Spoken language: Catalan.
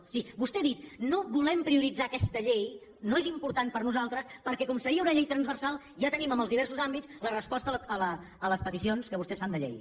o sigui vostè ha dit no volem prioritzar aquesta llei no és important per a nosaltres perquè com seria una llei transversal ja tenim en els diversos àmbits la resposta a les peticions que vostès fan de llei